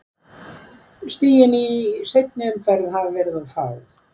Stigin í seinni umferð hafa verið of fá.